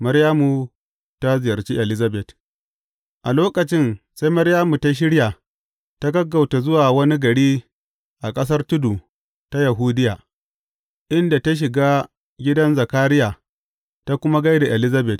Maryamu ta ziyarci Elizabet A lokacin sai Maryamu ta shirya ta gaggauta zuwa wani gari a ƙasar tudu ta Yahudiya, inda ta shiga gidan Zakariya ta kuma gai da Elizabet.